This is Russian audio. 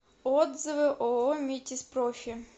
отзывы ооо метизпрофи